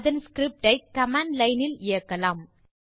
அதன் ஸ்கிரிப்ட் ஐ command line இல் இயக்கலாம்